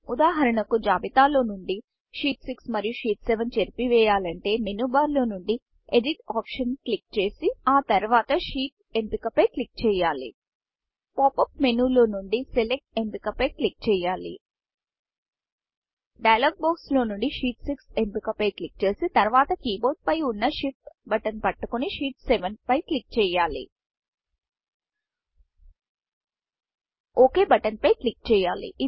ఉదాహరణకు జాబితా లో నుండి షీట్ 6షీట్ 6 మరియు షీట్ 7షీట్ 6 చేరిపివేయాలంటే మేను బార్ మేను బార్లో నుండి ఎడిట్ optionఎడిట్ ఆప్షన్ క్లిక్ చేసి ఆ తర్వాత Sheetషీట్ ఎంపిక పై క్లిక్ చేయాలి pop up menu pop up మేనులో నుండి Selectసెలెక్ట్ ఎంపిక పై క్లిక్ చేయాలి డైలాగ్ బాక్స్ డైయలోగ్ బాక్స్లో నుండి షీట్ 6షీట్ 6ఎంపిక పై క్లిక్ చేసి తర్వాత keyboardకీబోర్డ్ పై వున్న Shift buttonషిఫ్ట్ బటన్ ని పట్టుకొని షీట్ 7షీట్ 6 పై క్లిక్ చేయాలి ఒక్ buttonఓక్ బటన్ పై క్లిక్ చేయాలి